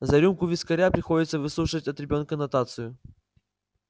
за рюмку вискаря приходится выслушивать от ребёнка нотацию